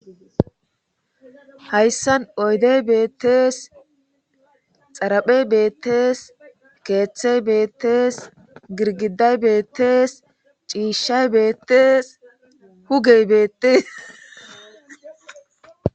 Hayssan oydey beettees, xaraphey beettees, keeththey beettees,girgiday beettees,ciishshay beettees, hugey beettees.